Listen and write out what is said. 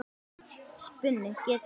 Spuni getur átt við